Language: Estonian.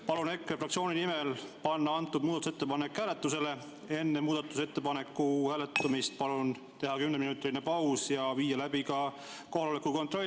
Palun EKRE fraktsiooni nimel panna see muudatusettepanek hääletusele, aga enne muudatusettepaneku hääletamist teha kümneminutiline paus ja seejärel viia läbi ka kohaloleku kontroll.